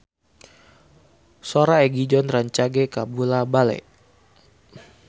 Sora Egi John rancage kabula-bale